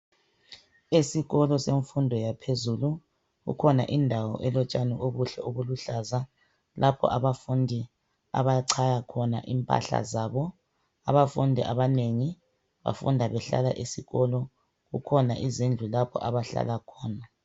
Esikolo semfundo yaphezulu kukhona indawo elotshani obuluhlaza tshoko ,lapho abafundi abachaya khona impahla zabo zesikolo , abafundi bafunda behlala esikolo.